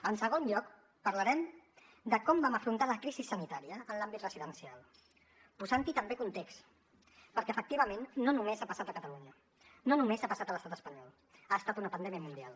en segon lloc parlarem de com vam afrontar la crisi sanitària en l’àmbit residencial posant també context perquè efectivament no només ha passat a catalunya no només ha passat a l’estat espanyol ha estat una pandèmia mundial